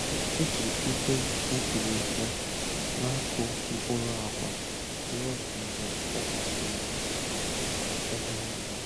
O ji igwe nkụri ya na-akụ mkpụrụ agwa ruo mgbe ọ gbasasịrị ebe niile.